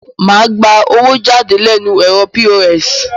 Mo gba owó jáde lẹ́nu ẹ̀rọ POS